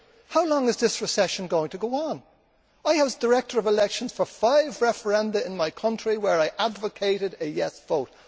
How long is this recession going to go on? I was director of elections for five referenda in my country where I advocated a yes vote.